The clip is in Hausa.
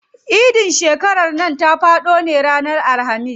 Idin shekaran nan ta faɗo ne a ranar Alhamis.